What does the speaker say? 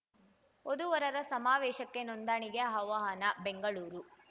ವಧುವರರ ಸಮಾವೇಶಕ್ಕೆ ನೋಂದಣಿಗೆ ಆಹ್ವಾನ ಬೆಂಗಳೂರು